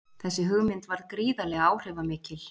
Þessi hugmynd varð gríðarlega áhrifamikil.